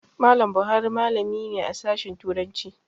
Mallam Buhari malami ne a Sashen Turanci.